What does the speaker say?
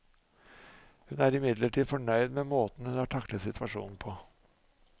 Hun er imidlertid fornøyd med måten hun har taklet situasjonen på.